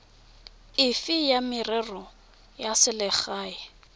efe ya merero ya selegae